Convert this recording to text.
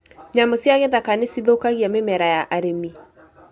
Nyamũ cia gĩthaka nĩ cithũkagia mĩmera ya arĩmi